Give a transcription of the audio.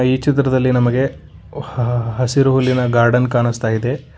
ಈ ಚಿತ್ರದಲ್ಲಿ ನಮಗೆ ಹಾ ಹಸಿರು ಹುಲ್ಲಿನ ಗಾರ್ಡನ್ ಕಾಣುಸ್ತಾ ಇದೆ.